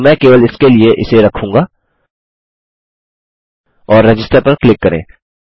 किन्तु मैं केवल इसके लिए इसे रखूँगा और रजिस्टर पर क्लिक करें